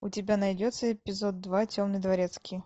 у тебя найдется эпизод два темный дворецкий